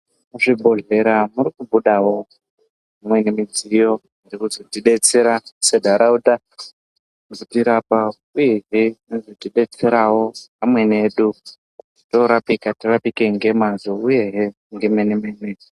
Muzvibhedhlera muri kubudawo imweni midziyo yekuzotidetsera senharaunda kuzotirapa uyezve inodetserawo amweni edu toorapika, torapika ngemwazvo uyehe ngemene mene.